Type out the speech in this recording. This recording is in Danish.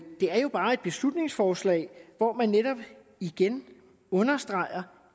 det er jo bare et beslutningsforslag hvor man netop igen understreger